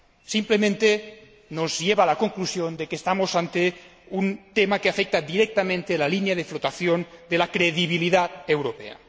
simplemente, nos lleva a la conclusión de que estamos ante un tema que afecta directamente a la línea de flotación de la credibilidad europea.